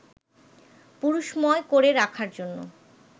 পুরুষময় করে রাখার জন্য